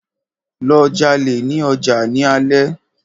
Lọ jalè ní ọjà ní alé!